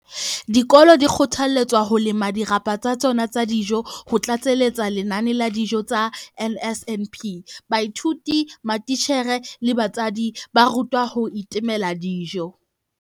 Dikolo di kgothaletswa ho lema dirapa tsa tsona tsa dijo ho tlatseletsa lenane la dijo tsa NSNP. Baithuti, matitjhere le batswadi ba rutwa ho itemela dijo.